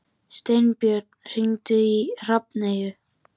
Steinbjörn, hringdu í Hrafneyju.